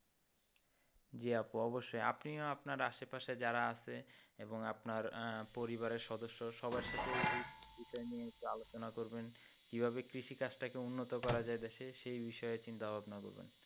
জি আপু অবশ্যই আপনিও আপনার আসে পাশে যারা আছে এবং আপনার পরিবারের সদস্য সবার সাথেই এই বিষয় নিয়ে একটু আলোচনা করবেন কীভাবে কৃষি কাজটাকে উন্নত করা যায় দেশে সেই বিষয়ে চিন্তা ভাবনা করবেন।